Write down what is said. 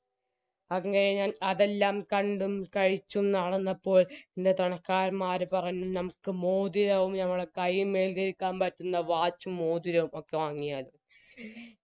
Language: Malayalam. അതുവരെ ഞാൻ അതെല്ലാം കണ്ടും കഴിച്ചും നടന്നപ്പോൾ എൻറെ മ്മാര് പറഞ്ഞു നമുക്ക് മോതിരവും ഞമ്മളെ കൈമ്മല് പറ്റ്‌ന്ന watch ഉം മോതിരവും ഒക്കെ വാങ്ങിയാലോ